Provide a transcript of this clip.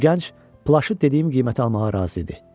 Bu gənc plaşı dediyim qiymətə almağa razı idi.